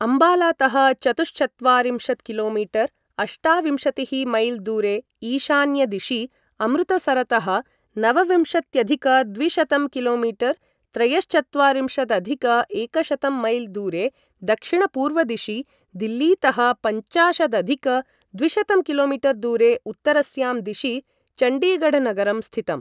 अम्बालातः चतुश्चत्वारिंशत् कि.मी. अष्टाविंशतिः मैल् दूरे ईशान्यदिशि, अमृतसरतः नवविंशत्यधिक द्विशतं कि.मी. त्रयश्चत्वारिंशदधिक एकशतं मैल् दूरे दक्षिणपूर्वदिशि, दिल्लीतः पञ्चाशदधिक द्विशतं कि.मी. दूरे उत्तरस्यां दिशि चण्डीगढनगरं स्थितम्।